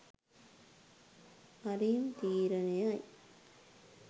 හරිම් තීරණයයි